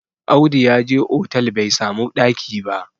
Audu ya je otal bai samu ɗaki ba